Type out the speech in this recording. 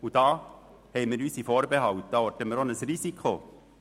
Hier haben wir unsere Vorbehalte und orten auch ein Risiko.